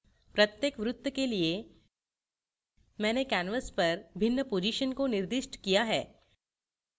प्रत्येक वृत्त के लिए मैंने canvas पर भिन्न positions को निर्दिष्ट किया है